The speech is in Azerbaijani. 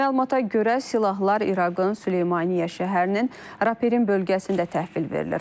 Məlumata görə, silahlar İraqın Süleymaniyyə şəhərinin Raperin bölgəsində təhvil verilir.